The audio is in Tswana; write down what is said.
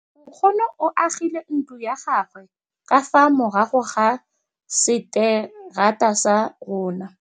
Nkgonne o agile ntlo ya gagwe ka fa morago ga seterata sa rona.